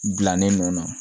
Gilannen nun na